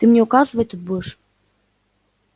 ты мне указывать тут будешь